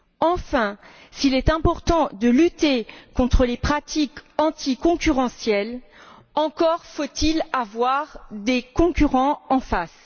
Enfin, s'il est important de lutter contre les pratiques anticoncurrentielles, encore faut il avoir des concurrents en face.